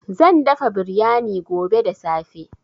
Zan dafa biryani gobe da safe.